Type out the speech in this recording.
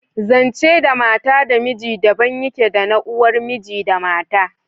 Zance da mata da miji daban yake da na uwar miji da mata